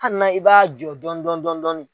Hali na i b'a jɔ dɔɔnin dɔɔnin dɔndɔɔn.